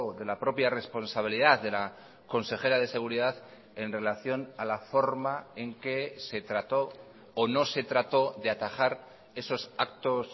de la propia responsabilidad de la consejera de seguridad en relación a la forma en que se trató o no se trató de atajar esos actos